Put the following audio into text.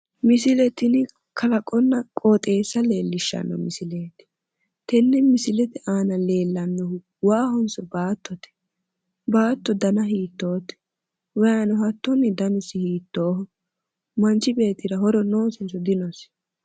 misile tini kalaqonna qooxeessa leellishshano misileeti ,tenne misilete aana leellanohu waahonso baattote,? baatto dana hiittoote ?, wayiino dana hiittooho ?, manchi beettira horo noosinso dinosi?